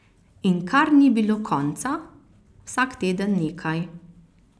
In kar ni bilo konca, vsak teden nekaj.